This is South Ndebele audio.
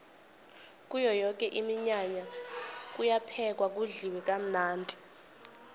kuyo yoke iminyanya kuyaphekwa kudliwe kamnandi